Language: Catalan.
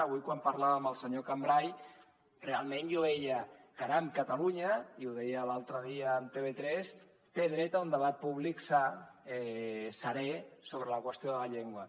avui quan parlava amb el senyor cambray realment jo ho veia caram catalunya i ho deia l’altre dia a tv3 té dret a un debat públic sa serè sobre la qüestió de la llengua